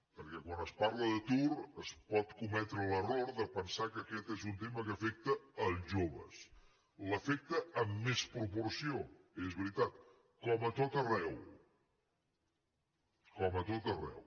perquè quan es parla d’atur es pot cometre l’error de pensar que aquest és un tema que afecta els joves els afecta amb més proporció és veritat com a tot arreu com a tot arreu